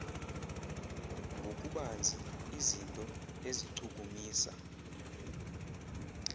ngokubanzi izinto ezichukumisa